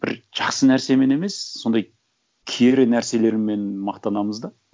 бір жақсы нәрсемен емес сондай кері нәрселермен мақтанамыз да